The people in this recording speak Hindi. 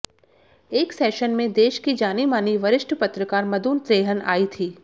एक सेशन में देश की जानी मानी वरिष्ठ पत्रकार मधु त्रेहन आई थीं